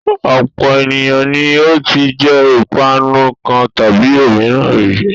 Ọ̀pọ̀ ènìyàn ni ó ti jẹ ìpanu kan tàbí òmíràn rí.